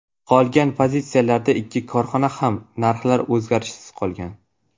Qolgan pozitsiyalarda ikki korxonada ham narxlar o‘zgarishsiz qolgan.